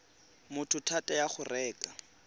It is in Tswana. motho thata ya go reka